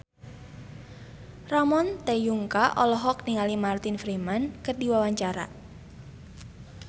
Ramon T. Yungka olohok ningali Martin Freeman keur diwawancara